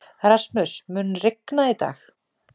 Rasmus, mun rigna í dag?